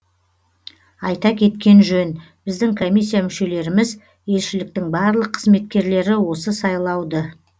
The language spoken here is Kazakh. айта кеткен жөн біздің комиссия мүшелеріміз елшіліктің барлық қызметкерлері осы сайлауды